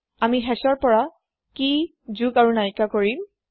আমি hashৰ পৰা কেই যোগ আৰু নাইকিয়া কৰিম